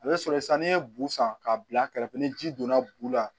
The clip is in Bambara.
A bɛ sɔrɔ sisan n'i ye bu san k'a bila kɛrɛfɛ ni ji donna bu la